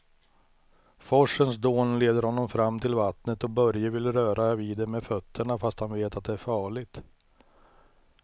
Forsens dån leder honom fram till vattnet och Börje vill röra vid det med fötterna, fast han vet att det är farligt.